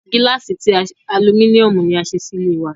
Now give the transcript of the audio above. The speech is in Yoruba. Gílàsì ti Aluminiomu ni a ṣe sì ilé wa